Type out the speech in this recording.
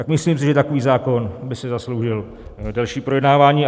Tak si myslím, že takový zákon by si zasloužil delší projednávání.